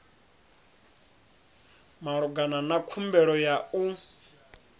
malugana na khumbelo ya u